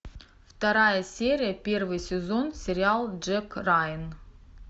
вторая серия первый сезон сериал джек райан